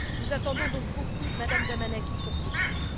Nous attendons donc beaucoup de Mme Damanaki sur ce point.